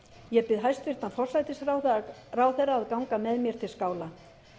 ég bið hæstvirtan forsætisráðherra að ganga með mér til skála